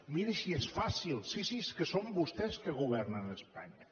miri si és fàcil sí sí és que són vostès que governen espanya